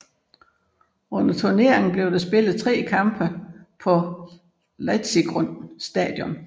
Under turneringen blev der spillet tre kampe på Letzigrund Stadion